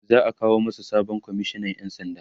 za'a kawo masu sabon komishinan ƴan sanda